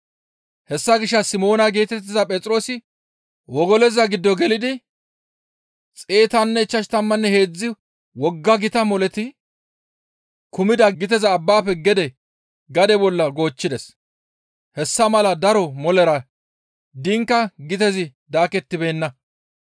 Hessa gishshas Simoona geetettiza Phexroosi wogoloza giddo gelidi 153 wogga gita moleti kumida giteza abbafe gede gade bolla goochchides; hessa mala daro molera diinka gitezi daakettibeenna.